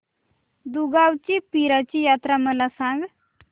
दुगावची पीराची यात्रा मला सांग